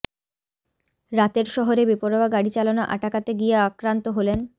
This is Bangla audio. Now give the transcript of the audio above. রাতের শহরে বেপরোয়া গাড়ি চালানো আটাকাতে গিয়ে আক্রান্ত হলেন